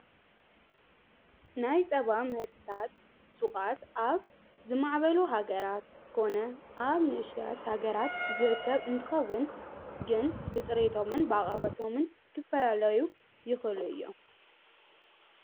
ናይ ጸባ ምህርትታት ሹቓት ኣብ ዝማዕበሉ ሃገራት ኮነ ኣብ ንእሽተያት ሃገራት ዝርከብ እንትኸውን ግን ብጽሪቶምን ብኣቕርበቶምን ክፈላለዩ ይኸሉ እዮም።